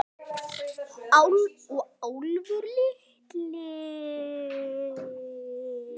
Og Álfur litli.